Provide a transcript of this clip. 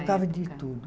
Tocava de tudo.